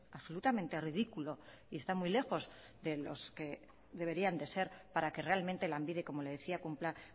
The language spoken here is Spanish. absolutamente ridículo y está muy lejos de los que deberían de ser para que realmente lanbide como le decía cumpla